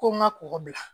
Ko n ka kɔgɔ bila